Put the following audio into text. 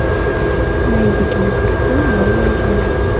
найди кинокартину новая земля